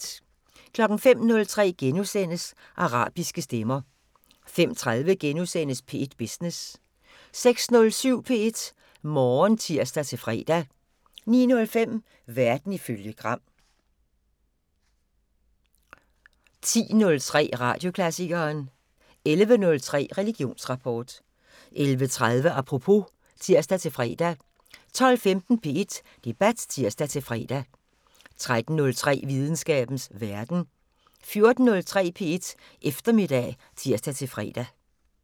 05:03: Arabiske stemmer * 05:30: P1 Business * 06:07: P1 Morgen (tir-fre) 09:05: Verden ifølge Gram 10:03: Radioklassikeren 11:03: Religionsrapport 11:30: Apropos (tir-fre) 12:15: P1 Debat (tir-fre) 13:03: Videnskabens Verden 14:03: P1 Eftermiddag (tir-fre)